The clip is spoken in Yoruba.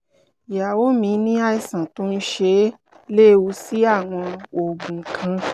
ìyàwó mi ní àìsàn tó ń ṣe é léwu sí àwọn oògùn kan